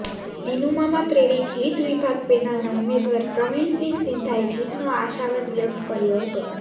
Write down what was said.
દીનુમામા પ્રેરીત હીત વિભાગ પેનલના ઉમેદવાર પ્રવિણસિંહ સિંધાએ જીતનો આશાવાદ વ્યક્ત કર્યો હતો